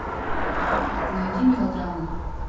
найди мелодрамы